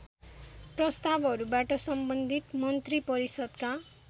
प्रस्‍तावहरूबाट सम्बन्धित मन्त्रिपरिषदका